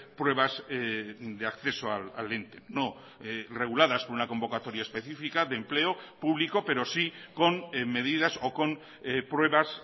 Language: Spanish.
pruebas de acceso al ente no reguladas por una convocatoria específica de empleo público pero sí con medidas o con pruebas